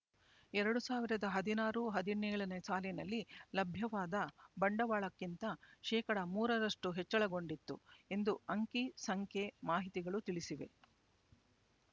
ಎರಡು ಸಾವಿರದ ಹದಿನಾರು ಹದಿನೇಳನೇ ಸಾಲಿನಲ್ಲಿ ಲಭ್ಯವಾದ ಬಂಡವಾಳಕ್ಕಿಂತ ಶೇಕಡಾ ಮೂರರಷ್ಟು ಹೆಚ್ಚಳಗೊಂಡಿತ್ತು ಎಂದು ಅಂಕಿಸಂಖ್ಯೆ ಮಾಹಿತಿಗಳು ತಿಳಿಸಿವೆ